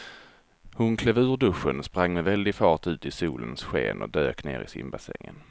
Hon klev ur duschen, sprang med väldig fart ut i solens sken och dök ner i simbassängen.